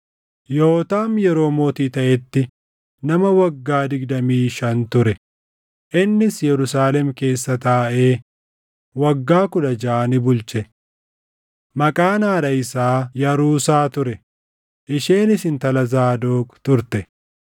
Yootaam yeroo mootii taʼetti nama waggaa digdamii shan ture; innis Yerusaalem keessa taaʼee waggaa kudha jaʼa ni bulche. Maqaan haadha isaa Yaruusaa ture; isheenis intala Zaadoq turte.